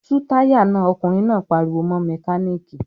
"Tú táyà náà!" Ọkùnrin náà pariwo mọ́ mẹkáníkì.